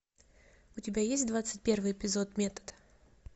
у тебя есть двадцать первый эпизод метод